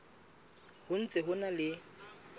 ho ntse ho na le